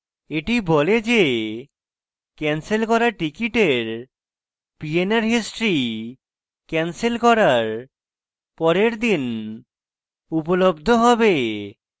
এটি বলে the canceled করা টিকিটের pnr history canceled করার পরের the উপলব্ধ হবে